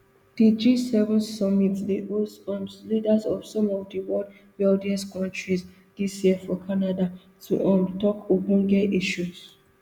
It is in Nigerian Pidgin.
di gseven summit dey host um leaders of some of di world wealthiest kontris dis year for canada to um tok ogbonge issues